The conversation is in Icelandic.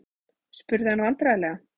spurði hann vandræðalega.